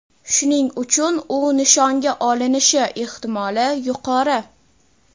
shuning uchun u nishonga olinishi ehtimoli yuqori.